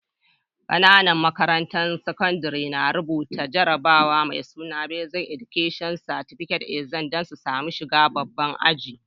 Ƙananan makarantun sakandare na rubuta jarabawa mai suna Basic Education Certificate Exam dan su samu shigan babban ajin.